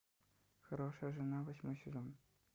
хорошая жена восьмой сезон